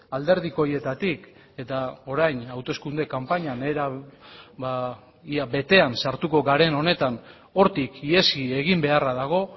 alderdikoietatik eta orain hauteskunde kanpainan era ia betean sartuko garen honetan hortik ihes egin beharra dago